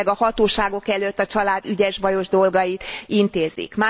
Illetőleg a hatóságok előtt a család ügyes bajos dolgait intézik.